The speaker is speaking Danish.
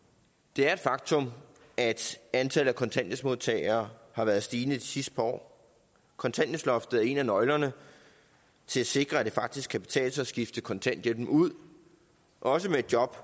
det er et faktum at antallet af kontanthjælpsmodtagere har været stigende de sidste par år kontanthjælpsloftet er en af nøglerne til at sikre at det faktisk kan betale sig at skifte kontanthjælpen ud også med et job